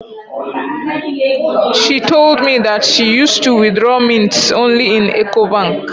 She told me that she use to withdraw mints only in Ecobank